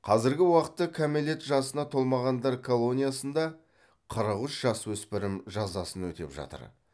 қазіргі уақытта кәмелет жасына толмағандар колониясында қырық үш жасөспірім жазасын өтеп жатыр